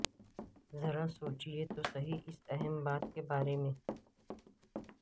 ذرا سوچیئے تو سہی اس اہم بات کے بارے میں